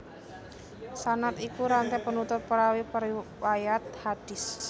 Sanad iku ranté penutur perawi periwayat hadis